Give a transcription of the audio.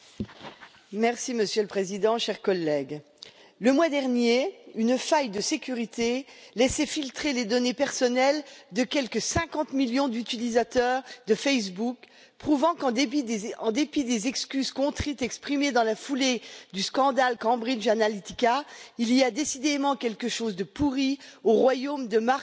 Monsieur le Président, chers collègues, le mois dernier, une faille de sécurité laissait filtrer les données personnelles de quelque 50 millions d'utilisateurs de Facebook prouvant qu'en dépit des excuses contrites, exprimées dans la foulée du scandale Cambridge Analytica, il y a décidément quelque chose de pourri au royaume de Mark Zuckerberg.